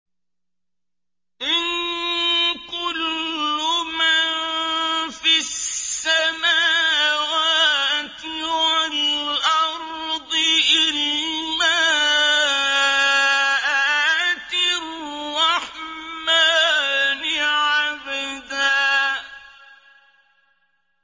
إِن كُلُّ مَن فِي السَّمَاوَاتِ وَالْأَرْضِ إِلَّا آتِي الرَّحْمَٰنِ عَبْدًا